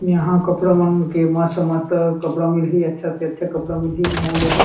यहाँ कपडा मन के मस्त-मस्त कपडा मिली ही अच्छा से अच्छा कपडा मिली मॉल हे एहा।